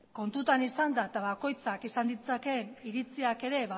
kontuan izanda eta bakoitzak izan ditzakeen iritziak ere